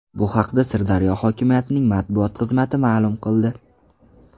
Bu haqda Sirdaryo hokimiyatining matbuot xizmati ma’lum qildi .